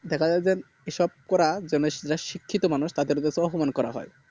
দেখা যাই যে এসব করা জেনেশুনে শিক্ষিত মানুষ তাদের কে অপমান করা হয়